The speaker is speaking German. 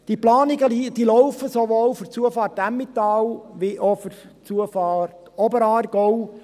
Die Planungen laufen, sowohl für die Zufahrt Emmental wie auch für die Zufahrt Oberaargau.